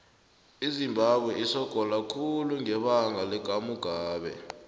izimbabwe isogola khulu ngebanga lakamugabe